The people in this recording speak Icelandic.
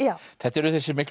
þetta eru þessir miklu